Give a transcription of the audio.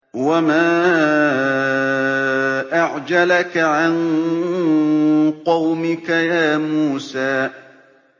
۞ وَمَا أَعْجَلَكَ عَن قَوْمِكَ يَا مُوسَىٰ